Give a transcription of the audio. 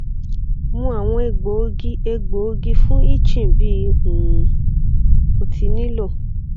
mu awọn egboogi egboogi fun itching bi um o ti nilo